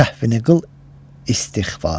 Səhvini qıl istiğfar.